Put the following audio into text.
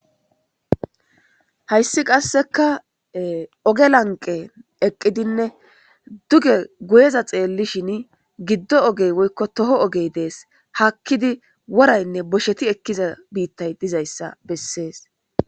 Haysi qaseka ogge lanqeni eqidinne duge guyeza xeelushn giddo ogey woyko toho ogey dedi. Haakid worayinne bosheti ekida biitay dizaysa beses.